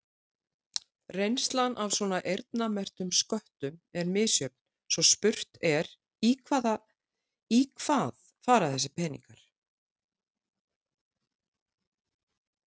Reynslan af svona eyrnamerktum sköttum er misjöfn svo spurt er í hvað fara þessir peningar?